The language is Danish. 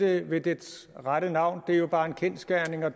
det ved dets rette navn det er jo bare en kendsgerning og